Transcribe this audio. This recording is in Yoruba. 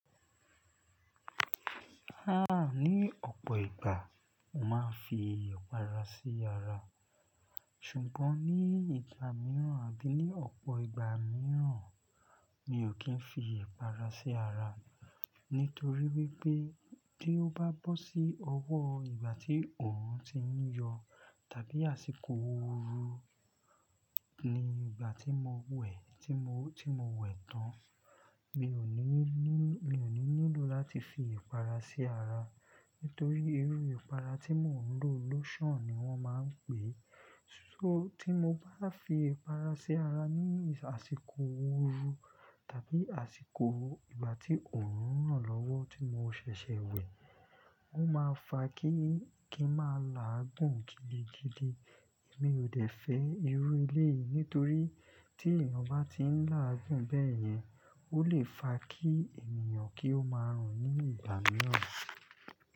Ha! Ni ọ̀pọ̀ ìgbà, màá fi ipàrá sí ara. Ṣùgbọ́n ní ìgbà mìíràn àbí ní ọ̀pọ̀ ìgbà mìíràn, mi ò kí ń fi ipàrá sí ara. Nítorí wípé tí ó bá bọ́ sí ọwọ́ ìgbà tí òòrùn ti ń yọ tàbí àsìkò ooru ni ìgbà tí mo wẹ̀, tí mo, tí mo wẹ̀ tán. Mi ò ní ní, mi ò ní nílò láti fi ipàrá sí ara. Nítorí irú ipàrá tí mò ń lò lotion ni wọ́n máa ń pè é. So tí mo bá fi ipàrá sí ara ní àsìkò ooru tàbí àsìkò ìgbà tí òòrùn ràn lọ́wọ́ tí mo ṣẹ̀ṣẹ̀ wẹ̀, ó máa fa kíi, kí máa làágùn gidigidi. Èmi ò dẹ̀ fẹ́ irú eléyìí. Nítorí tí èeyàn bá ti ń làágùn bẹ́yẹn, ó lè fa kí ènìyàn kí ó máa rùn ní ìgbà mìíràn.